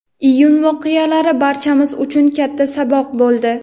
Iyun voqealari barchamiz uchun katta saboq bo‘ldi.